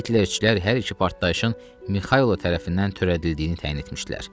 Hitlerçilər hər iki partlayışın Mixaylov tərəfindən törədildiyini təyin etmişdilər.